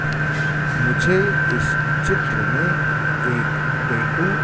मुझे इस चित्र में एक टैटू --